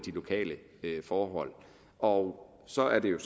lokale forhold og så er det jo